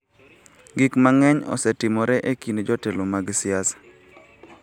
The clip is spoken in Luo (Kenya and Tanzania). Gik mang�eny osetimore e kind jotelo mag siasa.